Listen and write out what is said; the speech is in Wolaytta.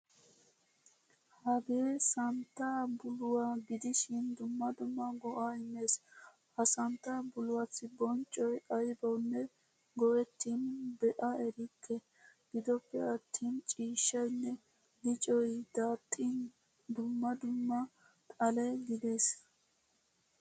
Hagee santta buluwaa gidishin dumma dumma go'a immees. Ha santta buluwassi bonccoy aybawunne go'ettin bea erikke. Giddoppe attin ciishshaynne liccoy daaxin dumma dumma xale kiyees.